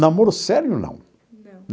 Namoro sério, não. Não.